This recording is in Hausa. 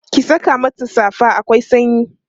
ki Saka mata safa akwai sanyi